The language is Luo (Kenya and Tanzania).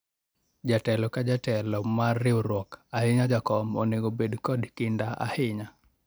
jatelo ka jetelo mar riwruok ahinya jakom onego bedo kod kinda ahinya